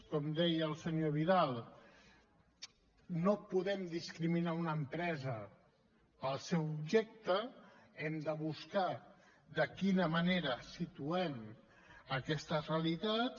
com deia el senyor vidal no podem discriminar una empresa pel seu objecte hem de buscar de quina manera situem aquestes realitats